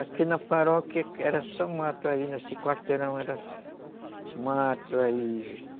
Aqui na paróquia era só mato aí, nesse quarteirão era mato aí...